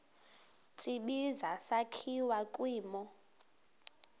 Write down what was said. tsibizi sakhiwa kwimo